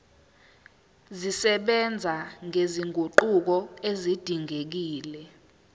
zisebenza nezinguquko ezidingekile